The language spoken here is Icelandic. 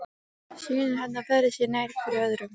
Synir hennar færðu sig nær hver öðrum.